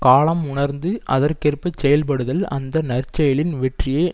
காலம் உணர்ந்து அதற்கேற்பச் செயல்படுதல் அந்த நற்செயலின் வெற்றியை